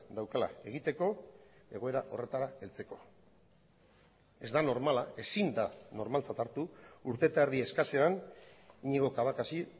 daukala egiteko egoera horretara heltzeko ez da normala ezin da normaltzat hartu urte eta erdi eskasean iñigo cabacasi